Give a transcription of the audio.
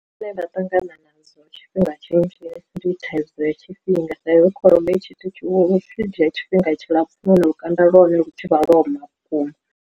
Zwine vha ṱangana nadzo tshifhinga tshinzhi ndi thaidzo ya tshifhinga sa izwi kholomo i tshithu lu tshi dzhia tshifhinga tshilapfu nahone lukanda lwa hone lu thivha lwo ma vhukuma.